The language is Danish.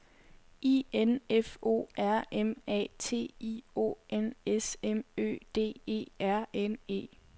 I N F O R M A T I O N S M Ø D E R N E